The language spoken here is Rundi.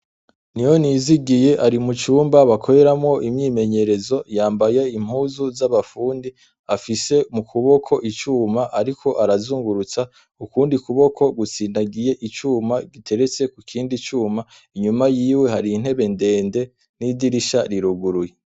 Niyoniyizigiye ari mu cumba bakoreramo imyimenyerezo yambaye impuzu z'abafundi .Afise mu kuboko icuma ariko arazungurutsa ukundi kuboko gutsindagiye icuma giteretse ku kindi cyuma inyuma y'iwe hari intebe ndende n'idirisha riruguruye.